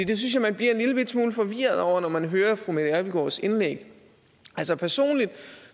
det synes jeg man bliver en lillebitte smule forvirret over når man hører fru mette abildgaards indlæg altså personligt